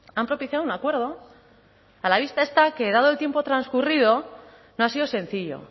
han propiciado un acuerdo a la vista está que dado el tiempo transcurrido no ha sido sencillo